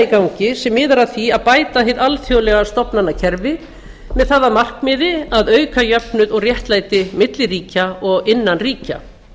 gangi sem miðar að því að bæta hið alþjóðlega stofnanakerfi með það að markmiði að auka jöfnuð og réttlæti milli ríkja og innan ríkja markmiðið